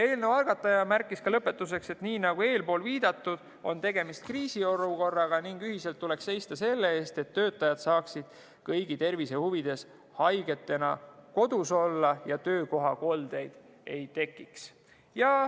Eelnõu algataja märkis lõpetuseks, et nii nagu eespool viidatud, on tegemist kriisiolukorraga ning ühiselt tuleks seista selle eest, et töötajad saaksid kõigi tervise huvides haigetena kodus olla ja töökohakoldeid ei tekiks.